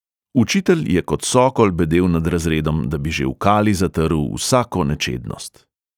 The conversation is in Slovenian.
Učitelj je kot sokol bedel nad razredom, da bi že v kali zatrl vsako nečednost.